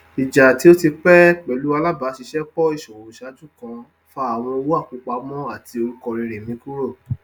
ìjà tí ó ti pé pẹlú alábàáṣiṣẹpọ íṣòwò iṣáájú kan fa àwọn owó àkópamọ àti orúkọ rere mi kúrò